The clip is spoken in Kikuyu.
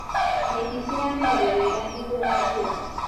Nyeki ciramerire wega hingo ya mbura.